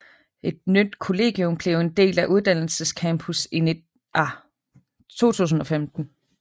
Et nyt kollegium blev en del af uddannelses campus i 2015